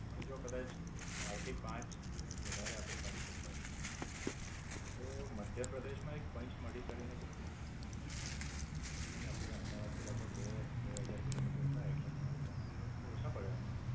અને જો કદાચ ચાર થી પાંચ દિવસ વધારે આપડે કાઢી શકતા હોઈએ તો મધ્યપ્રદેશ માં એક પંચમાળી કરીને જગ્યા છે. એ આપડે અમદાવાદ થી લગભગ બે બે હાજર kilometers થાય એટલે તમારે ત્રણ દિવસ તો ઓછા પડે એમાં.